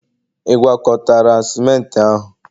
ị gwakọtara ciment ahụ?